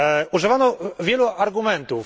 Używano wielu argumentów.